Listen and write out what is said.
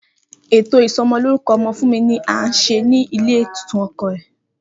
Eto isomoloruko omo Funmi ni ao se ni ile titun oko re.